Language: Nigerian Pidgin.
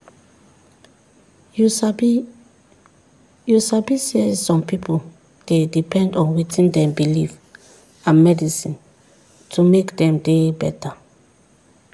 you sabi you sabi saysome pipu dey depend on wetin dem believe and medicine to make dem dey beta.